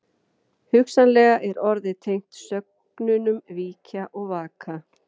Hugsanlega er orðið tengt sögnunum víkja og vaka.